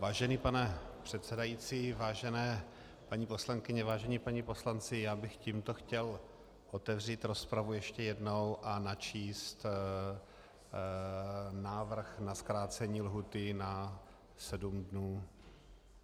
Vážený pane předsedající, vážené paní poslankyně, vážení páni poslanci, já bych tímto chtěl otevřít rozpravu ještě jednou a načíst návrh na zkrácení lhůty na sedm dnů.